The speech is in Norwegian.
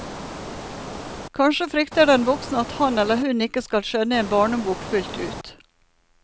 Kanskje frykter den voksne at han eller hun ikke skal skjønne en barnebok fullt ut.